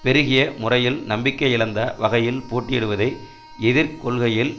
பெருகிய முறையில் நம்பிக்கையிழந்த வகையில் போட்டியிடுவதை எதிர் கொள்கையில்